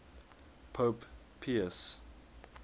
pope pius